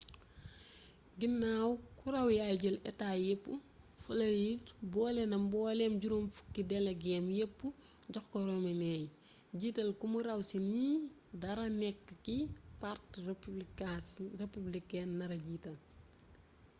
ginaaw ku raw yaay jël état yépp floride boolena mbooleem juróom-fukki delegeem yépp jox ko romney jiital ko mu raw ci ñi nara nekk ki parti républicain nara jiital